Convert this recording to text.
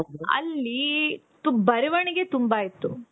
ಅಲ್ಲಿ ಬರವಣಿಗೆ ತುಂಬಾ ಇತ್ತು